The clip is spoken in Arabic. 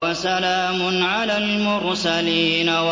وَسَلَامٌ عَلَى الْمُرْسَلِينَ